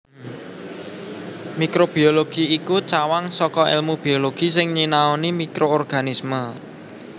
Mikrobiologi iku cawang saka èlmu biologi sing nyinaoni mikroorganisme